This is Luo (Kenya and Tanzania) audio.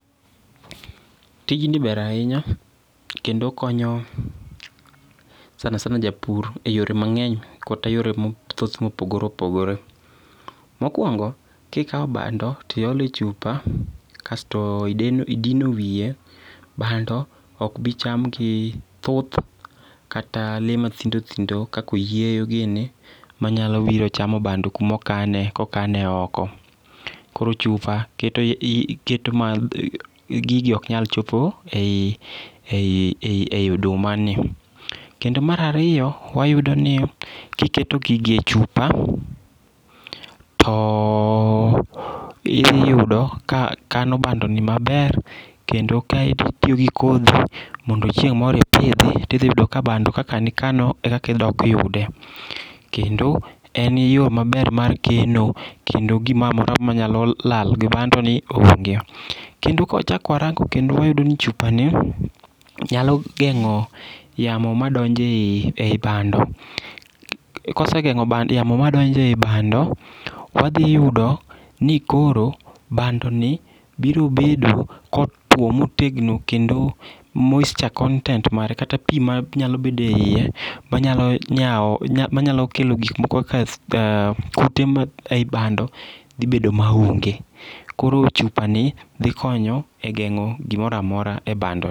Tijni ber ahinya, kendo okonyo sanasana japur e yore mang'eny kata yore mathoth mopogore opogore. Mokwongo, kikawo bando to iole chupa, kasto idino wiye, bando ok bi cham gi thuth, kata lee mathindothindo kaka oyieyo gini ma nyalo biro chamo bando kuma okane ka okane oko. Koro Chupa, keto ma gigi ok nyal chopo ei oduma ni. Kendo mar ariyo, wayudo ni kiketo gigi e chupa, to iyudo ka kano bando gi maber kendo kitiyo gi kodhi, mondo chieng' moro ipidhi , to idhi yudo ka bando kaka ne ikano e kaka idok yude. Kendo, en yo maber mar keno kendo gimoroamora manyalo lal gi bandoni onge. Kendo ka wachak warango kendo wayudo ni chupani nyalo geng'o yamo madonjo ei bando. Kosegeng'o yamo madonjo ei bando, wadhiyudo ni koro bandoni biro bedo kotwo motegno kendo moisture content mare kata pii manyalo bedo eiye manyalo kelo gik moko kaka kute ei bando dhi bedo maonge. Koro chupani dhi konyo e gero gimoroamora ei bandoni.